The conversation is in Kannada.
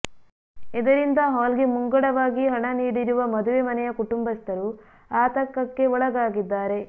ಇದರಿಂದ ಹಾಲ್ ಗೆ ಮುಂಗಡವಾಗಿ ಹಣ ನೀಡಿರುವ ಮದುವೆ ಮನೆಯ ಕುಟುಂಬಸ್ಥರು ಆಂತಕಕ್ಕೆ ಒಳಗಾಗಿದ್ದಾರೆ